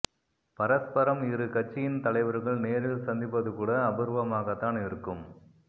பரஸ்பரம் இரு கட்சியின் தலைவர்கள் நேரில் சந்திப்பது கூட அபூர்வமாகத்தான் இருக்கும்